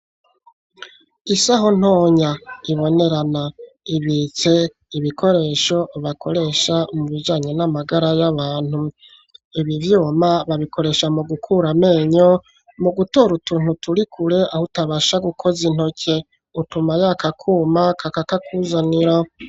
Isaho ntonya ibonerana ibike ibikoresho bakoresha mu bijanyo n'amagara y'abantu ibivyuma babikoresha mu gukura menyo mu gutora utuntu turi kure aho utabasha gukoza intoke utuma yakakuma kakaka kuzanira.